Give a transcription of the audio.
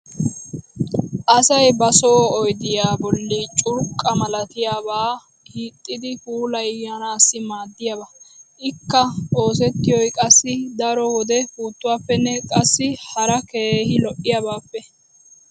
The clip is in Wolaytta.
asay ba soo oyddiya boli curqqa malattiyaaba hiixxidi puulayanaassi maadiyaaba. ikka oosettiyoy qassi daro wode puuttuwaapenne qassi hara keehi lo'iyaabaappe.